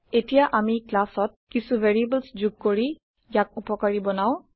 এতিয়া আমি classত কিছো ভেৰিয়েবলছ যোগ কৰি ইয়ক উপকাৰি বনাও